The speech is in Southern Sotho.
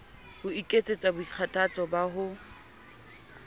ho ekets boikgathatso ba ho